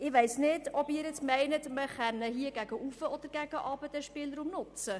Ich weiss nicht, ob Sie nun meinen, man könne diesen Spielraum hier gegen oben und unten nutzen.